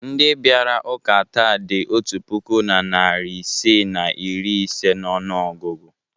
Ndị bịara ụka taa dị otu puku na narị isii na iri ise n'ọnụọgụgụ.